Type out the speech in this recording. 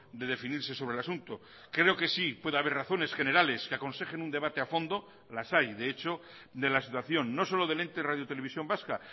de definirse sobre el asunto creo que sí puede haber razones generales que aconsejen un debate a fondo las hay de hecho de la situación no solo del ente radiotelevisión vasca